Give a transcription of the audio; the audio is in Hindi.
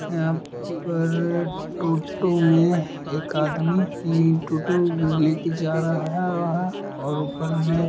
पर्रर टोटो में एक आदमी ये टोटो ले के जा रहा और ऊपर में --